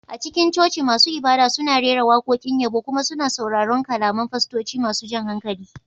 A cikin coci, masu ibada suna rera waƙoƙin yabo kuma suna sauraron kalaman fastoci masu jan hankali